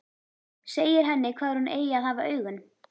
Segir henni hvar hún eigi að hafa augun.